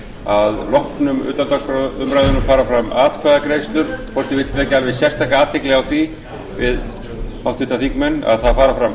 að loknum utandagskrárumræðum fara fram atkvæðagreiðslur forseti vill vekja alveg sérstaka athygli á því við háttvirtir þingmenn að fram fara